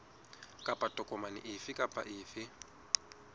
kapa tokomane efe kapa efe